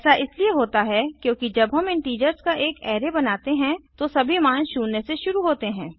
ऐसा इसलिए होता है क्योंकि जब हम इंटीजर्स का एक अराय बनाते हैं तो सभी मान शून्य से शुरू होते हैं